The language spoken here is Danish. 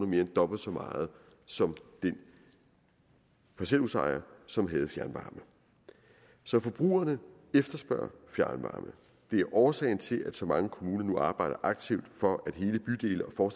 mere end dobbelt så meget som den parcelhusejer som havde fjernvarme så forbrugerne efterspørger fjernvarme det er årsagen til at så mange kommuner nu arbejder aktivt for at hele bydele og